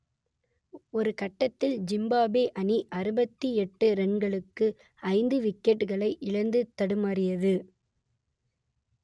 ஒரு கட்டத்தில் ஜிம்பாப்வே அணி அறுபத்தி எட்டு ரன்களுக்கு ஐந்து விக்கெட்டுகளை இழந்து தடுமாறியது